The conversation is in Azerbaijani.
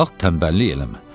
Qalx, tənbəllik eləmə.